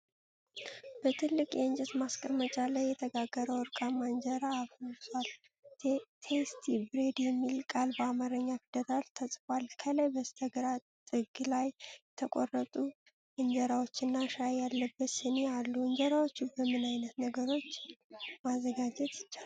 በትልቅ የእንጨት ማስቀመጫ ላይ የተጋገረ ወርቃማ እንጀራ አፍርሷል። 'ቴስቲ ብሬድ' የሚል ቃል በአማርኛ ፊደላት ተጽፏል። ከላይ በስተግራ ጥግ ላይ የተቆረጡ እንጀራዎችና ሻይ ያለበት ስኒ አሉ። እንጀራውን በምን አይነት ነገሮች ማዘጋጀት ይቻላል?